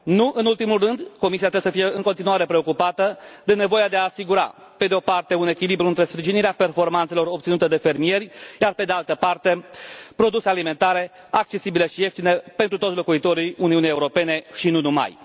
Nu în ultimul rând, Comisia trebuie să fie în continuare preocupată de nevoia de a asigura, pe de o parte, un echilibru între sprijinirea performanțelor obținute de fermieri, iar pe de altă parte, produse alimentare accesibile și ieftine pentru toți locuitorii Uniunii Europene și nu numai.